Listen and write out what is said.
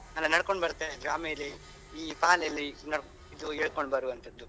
ಅಲ್ಲ ನಡ್ಕೊಂಡು ಬರ್ತಾ ಇರುದು ಆಮೇಲೆ ಈ ಪಾಲೆಯಲ್ಲಿ ಇದು ಎಳ್ಕೊಂಡ್ ಬರುವಂತದ್ದು.